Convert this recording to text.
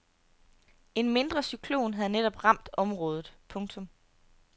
En mindre cyklon havde netop ramt området. punktum